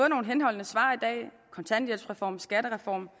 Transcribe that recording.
nogle henholdende svar kontanthjælpsreform skattereform